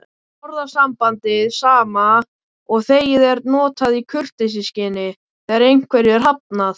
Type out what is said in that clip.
Orðasambandið sama og þegið er notað í kurteisisskyni þegar einhverju er hafnað.